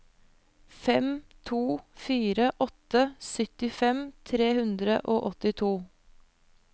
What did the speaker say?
fem to fire åtte syttifem tre hundre og åttito